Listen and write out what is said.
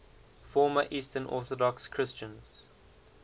former eastern orthodox christians